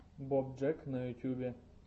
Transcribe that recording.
боб джек на ютубе